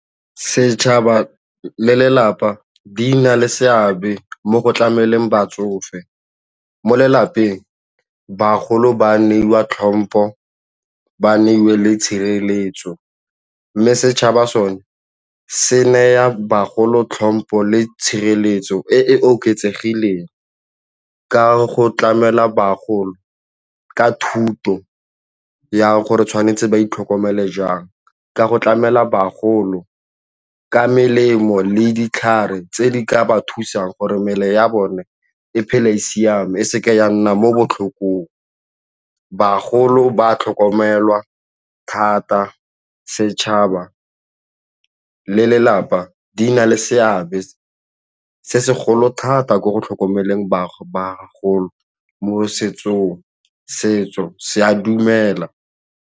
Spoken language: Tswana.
Setšhaba le lelapa di na le seabe mo go tlameleng batsofe mo lelapeng bagolo ba neiwa tlhompho, ba neiwe le tshireletso mme setšhaba sone se naya bagolo tlhompo le tshireletso e e oketsegileng ka go tlamela bagolo ka thuto ya gore tshwanetse ba itlhokomele jang, ka go tlamela bagolo ka melemo le ditlhare tse di ka ba thusang gore mebele ya bone e phele e siame e seke ya nna mo botlhokong. Bagolo ba tlhokomelwa thata se setšhaba le lelapa di na le seabe se segolo thata mo go tlhokomeleng bagolo mo setsong, setso se a dumela